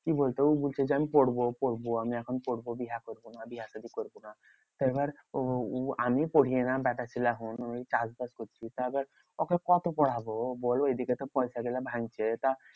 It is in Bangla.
কি বলতো উ বলছে যে আমি পড়বো পড়বো আমি এখন পড়বো। বিহা করবো না বিহা সাদি করবো না। তা এবার ও উ আমি পরিয়ে না ব্যাটা ছেলে এখন ওই চাষবাস করছি। তা এবার ওকে কত পড়াবো? বোলো এইদিকে তো পয়সাগুলা ভাঙ্গছে। তা